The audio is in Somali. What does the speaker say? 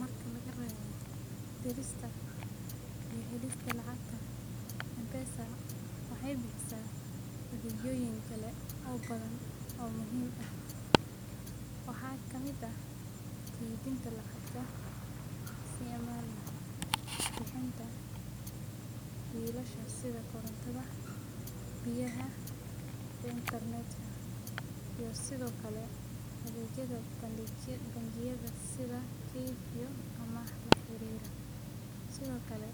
Marka laga reebo dirista iyo helista lacagta, M-Pesa waxay bixisaa adeegyoyin kale oo badan oo muhiim ah. Waxaa ka mid ah kaydinta lacagta si ammaan ah, bixinta biilasha sida korontada, biyaha, iyo intarnetka, iyo sidoo kale adeegyada bangiyada sida kayd iyo amaah la xiriira. Sidoo kale,